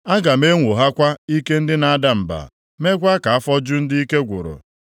Aga m enwoghakwa ike ndị na-ada mba, meekwa ka afọ ju ndị ike gwụrụ.”